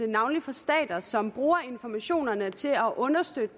navnlig fra stater som bruger informationerne til at understøtte